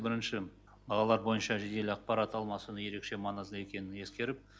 бірінші бағалар бойынша жедел ақпарат алмасудың ерекше маңызды екенін ескеріп